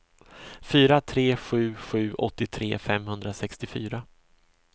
fyra tre sju sju åttiotre femhundrasextiofyra